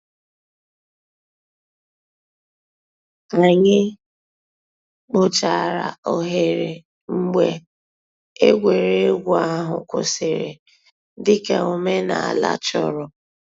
Ànyị̀ kpochàrā òghèrè mgbè ègwè́régwụ̀ àhụ̀ kwụsìrì, dị̀ka òmènàlà chọ̀rọ̀.